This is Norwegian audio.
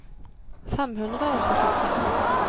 fem hundre og syttitre